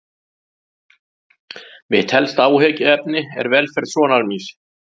Mitt helsta áhyggjuefni er velferð sonar míns.